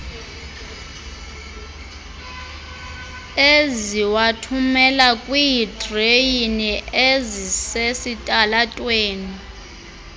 eziwathumela kwiidreyini ezisesitalatweni